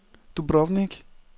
Dubrovnik